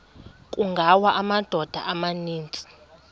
kungawa amadoda amaninzi